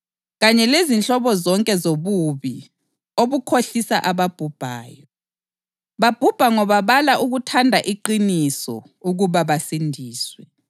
kanye lezinhlobo zonke zobubi obukhohlisa ababhubhayo. Babhubha ngoba bala ukuthanda iqiniso ukuba basindiswe.